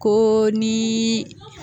Ko ni